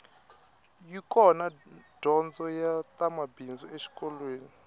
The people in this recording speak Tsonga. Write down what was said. yi kona dyondzo ya ta mabindzu exikolweni